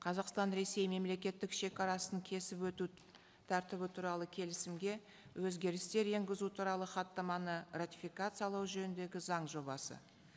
қазақстан ресей мемлекеттік шегарасын кесіп өту тәртібі туралы келісімге өзгерістер енгізу туралы хаттаманы ратификациялау жөніндегі заң жобасы